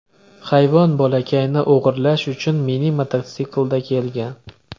Hayvon bolakayni o‘g‘irlash uchun mini-mototsiklda kelgan.